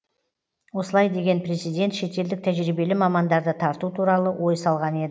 осылай деген президент шетелдік тәжірибелі мамандарды тарту туралы ой салған ед